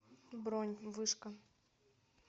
бронь вышка